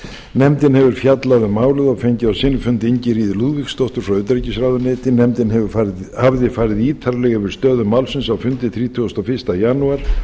nefndin hefur fjallað um málið og fengið á sinn fundi ingiríði lúðvíksdóttur frá utanríkisráðuneyti nefndin hafði farið ítarlega yfir stöðu málsins á fundi þrítugasta og fyrsta janúar